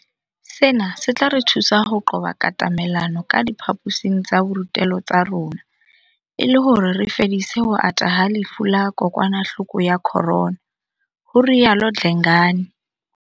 Sena se tla re thusa ho qoba katamelano ka diphaposing tsa borutelo tsa rona e le hore re ka fedisa ho ata ha lefu la kokwanahloko ya Corona, ho rialo Dlengane.